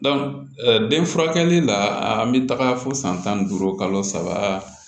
den furakɛli la an bɛ taga fo san tan duuru kalo saba